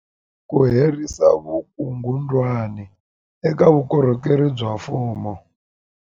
Ku herisa vukungundwani eka vukorhokeri bya mfumo